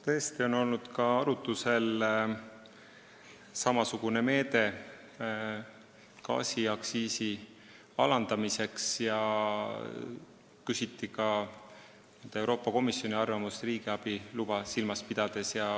Tõesti on olnud arutlusel samasugune meede gaasiaktsiisi alandamiseks ja küsiti ka Euroopa Komisjoni arvamust riigiabi luba silmas pidades.